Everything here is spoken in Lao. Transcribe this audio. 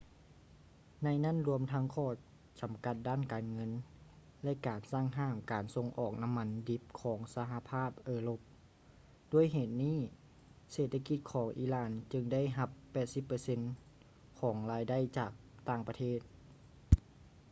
ໃນນັ້ນລວມທັງຂໍ້ຈຳກັດດ້ານການເງິນ ແລະ ການສັ່ງຫ້າມການສົ່ງອອກນ້ຳມັນດິບຂອງສະຫະພາບເອີຣົບ ດ້ວຍເຫດນີ້ ເສດຖະກິດຂອງອີຣານຈຶ່ງໄດ້ຮັບ 80% ຂອງລາຍໄດ້ຈາກຕ່າງປະເທດ